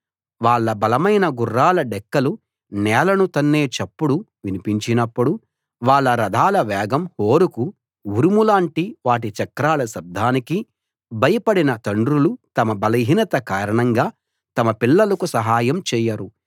వాళ్ళ బలమైన గుర్రాల డెక్కలు నేలను తన్నే చప్పుడు వినిపించినప్పుడు వాళ్ళ రథాల వేగం హోరుకూ ఉరుము లాంటి వాటి చక్రాల శబ్దానికీ భయపడిన తండ్రులు తమ బలహీనత కారణంగా తమ పిల్లలకు సహాయం చేయరు